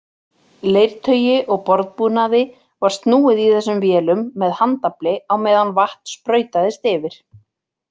Leirtaui og borðbúnaði var snúið í þessum vélum með handafli á meðan vatn sprautaðist yfir.